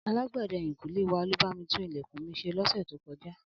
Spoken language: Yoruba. Alágbẹ̀dẹ ẹ̀yìnkùlé wa ló bá mi tún ilẹ̀kùn mi ṣe lọ́sẹ̀ tó kọjá